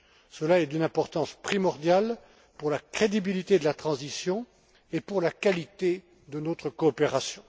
Cela est d'une importance primordiale pour la crédibilité de la transition et pour la qualité de notre coopération.